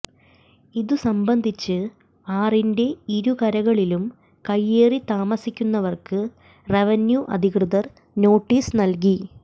ഇതുസംബന്ധിച്ച് ആറിന്റെ ഇരുകരകളിലും കൈയേറി താമസിക്കുന്നവർക്ക് റവന്യൂ അധികൃതർ നോട്ടീസ് നൽകി